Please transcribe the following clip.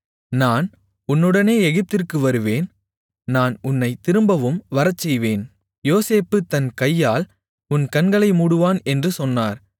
நான் உன்னுடனே எகிப்திற்கு வருவேன் நான் உன்னைத் திரும்பவும் வரச்செய்வேன் யோசேப்பு தன் கையால் உன் கண்களை மூடுவான் என்று சொன்னார்